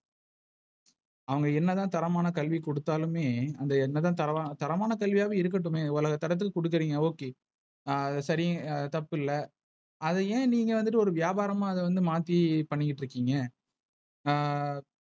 அவங்க என்ன தான் தரமான கல்வி கொடுத்தாலும்மே, அந்த என்னதான் தரவ தரமான கல்வியா இருக்கட்டுமே உலக தரத்துக்கு குடுக்குறீங்க Ok அது தெரியும் தப்பு இல்ல. அது ஏன் நீங்க வந்துட்டு ஒரு வியாபாரமாக வந்து மாத்தி பண்ணிட்டு இருக்கீங்க.